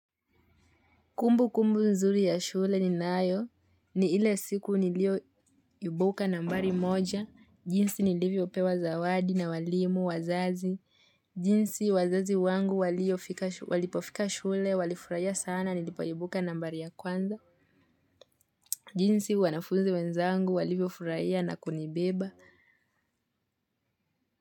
Kumbukumbu nzuri ya shule ni nayo. Ni ile siku nilio iubuka nambari moja. Jinsi nilivyo pewa zawadi na walimu wazazi. Jinsi wazazi wangu walipofika shule walifurahia sana nilipoiubuka nambari ya kwanza. Jinsi wanafunzi wenzangu walivyo furaia na kunibeba.